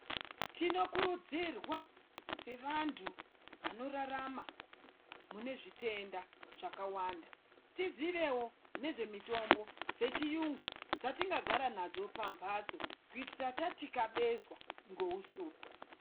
Tinokurudzirwa sevantu vanorarama mune zvitenda zvakawanda, tizivewo nezvemitombo dzechiyungu, dzatingagara nadzo pamphatso, kuitira tathikabezwa ngousuku.